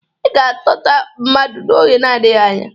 Ị ga-atọta mmadụ n'oge nadịghị anya.